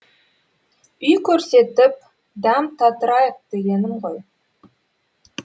үй көрсетіп дәм татырайық дегенім ғой